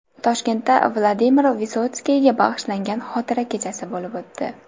Toshkentda Vladimir Visotskiyga bag‘ishlangan xotira kechasi bo‘lib o‘tdi.